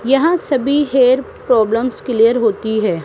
यहां सभी hair problems clear होती है।